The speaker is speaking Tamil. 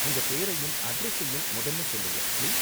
உங்க பேரையும் அட்ரஸயும் முதல்ல சொல்லுங்க, பிளீஸ்.